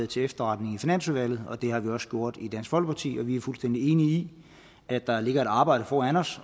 til efterretning i finansudvalget og det har vi også gjort i dansk folkeparti og vi er fuldstændig enige i at der ligger et arbejde foran os